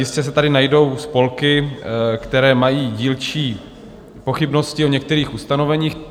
Jistě se tady najdou spolky, které mají dílčí pochybnosti o některých ustanoveních.